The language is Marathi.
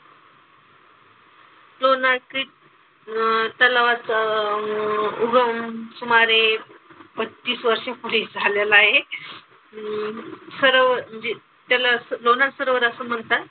लोणारचे अह तलावात अह उगम सुमारे पच्चीस वर्षांपूर्वी झालेला आहे. अं सरोवर म्हणजे त्याला लोणार सरोवर असं म्हणतात.